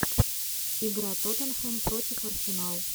игра тоттенхэм против арсенал